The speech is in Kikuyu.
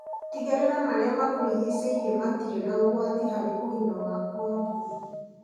Tigĩrĩra marĩa makũrigicĩirie matiri na ũgwati harĩ ũgima waku wa mwĩrĩ.